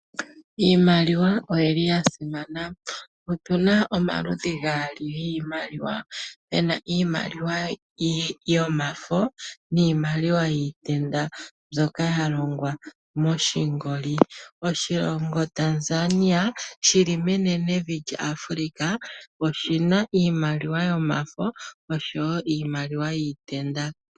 Iimaliwa oyili ya simana, opu na omaludhi gaali giimaliwa, puna iimaliwa yomafo niimaliwa yiitenda mboka ya longwa moshingoli. Oshilongo Tanzania shili menene vi lya African oshina iimaliwa yomafo osho wo iimaliwa yiitenda.